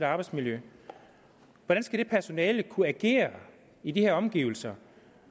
arbejdsmiljø hvordan skal det personale kunne agere i de her omgivelser